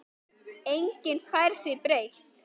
Enginn fær því breytt.